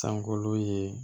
Sankolo ye